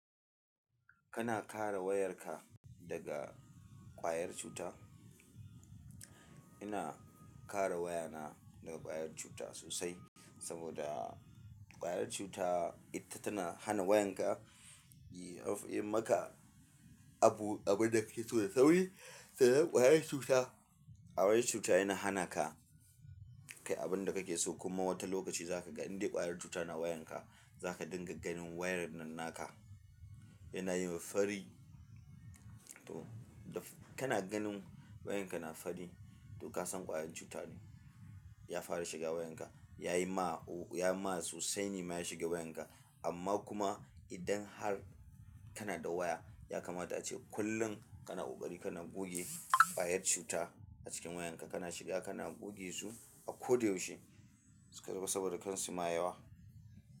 Kana ƙara wayarka daga ƙwayar cuta? Ina ƙara wayana daga ƙwayar cuta sosai saboda ƙwayar cuta ita tana hana wayanka ya. Yi maka abu, abun da kake so yai sauri. Sannan ƙwayar cuta, ƙwayar cuta yana hanaka kayi abin da kake so kuma wata lokaci za ka ga in dai ƙwayar cuta na wayanka za ka dinga ganin wayar nan naka yana yin fari. To da, kana ganin wayanka na fari to ka san ƙwayar cuta ne, ya fara shiga wayanka. Yayi ma, ya ma sosai ne ya shiga wayanka, amma kuma idan har kana da waya ya kamata ace kullum kana ƙoƙari kana goge ƙwayar cuta a cikin wayanka. Kana shiga kana goge su a ko da yaushe saboda kar su ma yawa.